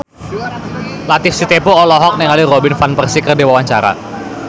Latief Sitepu olohok ningali Robin Van Persie keur diwawancara